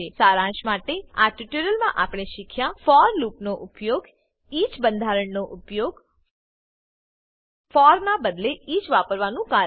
શારંશ માટે આ ટ્યુટોરીયલ માં આપણે શીખ્યા ફોર લૂપનો ઉપયોગ ઇચ બંધારણનો ઉપયોગ ફોર ના બદલે ઇચ વાપરવાનું કારણ